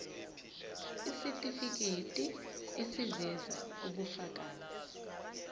isitifiketi eziveza ubufakazi